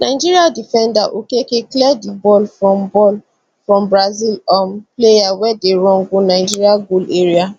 nigeria defender okeke clear di ball from ball from brazil um player wey dey run go nigeria goal area